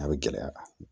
A bɛ gɛlɛya kan